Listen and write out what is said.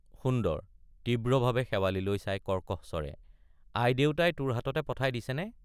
সুন্দৰ— তীব্ৰভাৱে শেৱালিলৈ চাই কৰ্কশ স্বৰে আই দেউতাই তোৰ হাততে পঠাই দিছেনে?